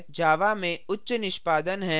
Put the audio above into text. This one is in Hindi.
java में उच्च निष्पादन हैं